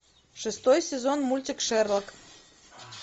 шестой сезон мультик шерлок